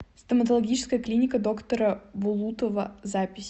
стоматологическая клиника доктора булутова запись